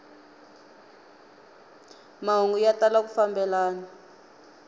mahungu ya tala ku fambelana